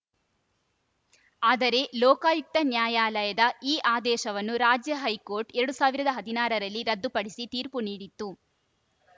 ಆದರೆ ಲೋಕಾಯುಕ್ತ ನ್ಯಾಯಾಲಯದ ಈ ಆದೇಶವನ್ನು ರಾಜ್ಯ ಹೈಕೋರ್ಟ್‌ ಎರಡ್ ಸಾವಿರದ ಹದಿನಾರರಲ್ಲಿ ರದ್ದುಪಡಿಸಿ ತೀರ್ಪು ನೀಡಿತ್ತು